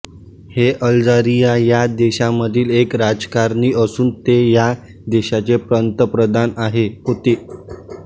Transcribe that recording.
हे अल्जीरिया ह्या देशामधील एक राजकारणी असुन् ते ह्या देशाचे पंतप्रधान होती